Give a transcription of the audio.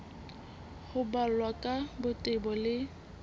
ho balwa ka botebo le